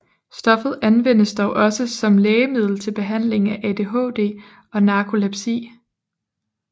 Stoffet anvendes dog også som lægemiddel til behandling af ADHD og narkolepsi